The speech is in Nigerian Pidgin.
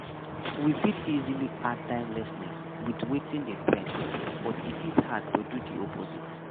We fit easily add timelessness with wetin dey trend but e fit hard to do di opposite